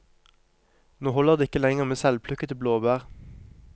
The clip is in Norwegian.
Nå holder det ikke lenger med selvplukkede blåbær.